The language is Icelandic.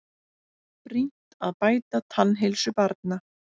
Brýnt að bæta tannheilsu barna